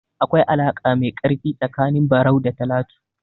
Akwai alaƙa mai ƙarfi tsakanin Barau da Talatu.